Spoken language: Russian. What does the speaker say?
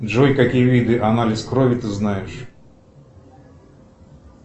джой какие виды анализ крови ты знаешь